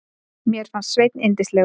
Mér fannst Sveinn yndislegur.